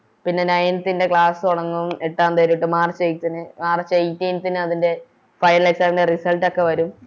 പിന്നെ Ninth ൻറെ Class തൊടങ്ങും എട്ടാം തിയ്യതി തൊട്ട് March eighth ന് March eighteenth ന് അതിൻറെ Final exam ൻറെ Result ഒക്കെ വരും